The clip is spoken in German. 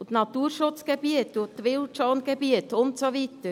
Und die Naturschutzgebiete und die Wildschongebiete und so weiter?